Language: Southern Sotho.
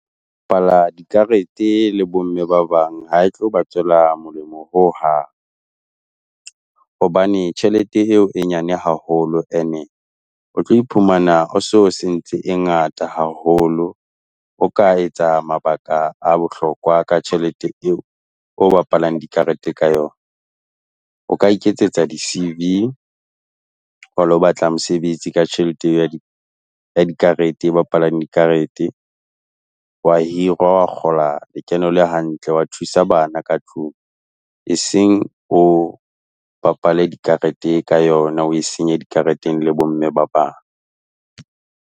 bapala dikarete le bomme ba bang ha e tlo ba tsoela molemo ho hang. Hobane tjhelete eo e nyane haholo ene o tlo iphumana o se o sentse e ngata haholo, o ka etsa mabaka a bohlokwa ka tjhelete eo o bapalang di karete ka yona. O ka iketsetsa di C_V o ilo batla mosebetsi ka tjhelete ya di karete, eo o bapalang dikarete, wa hirwa, wa kgola lekeno le hantle, wa thusa bana ka tlung. E seng o bapale dikarete ka yona, o e senye dikarateng le bo mme babang.